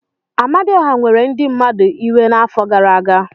Amadioha were ndị mmadụ iwe n'afọ gara aga.